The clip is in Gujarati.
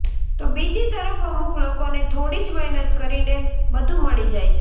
તો બીજી તરફ અમુક લોકોને થોડી જ મહેનત કરીને બધું મળી જાય છે